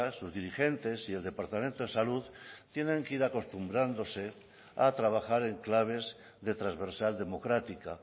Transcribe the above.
sus dirigentes y el departamento de salud tienen que ir acostumbrándose a trabajar en claves de transversal democrática